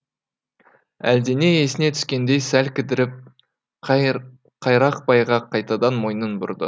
әлдене есіне түскендей сәл кідіріп қайрақбайға қайтадан мойнын бұрды